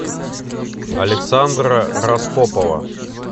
александра распопова